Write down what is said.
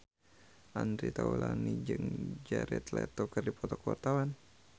Andre Taulany jeung Jared Leto keur dipoto ku wartawan